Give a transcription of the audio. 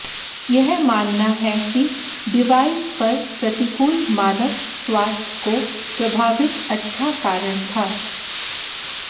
यह मानना है कि डिवाइस पर प्रतिकूल मानव स्वास्थ्य को प्रभावित अच्छा कारण था